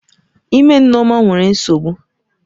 Ime Nneoma nwere nsogbu.